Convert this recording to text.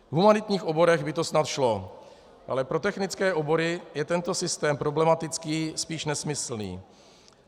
V humanitních oborech by to snad šlo, ale pro technické obory je tento systém problematický, spíš nesmyslný.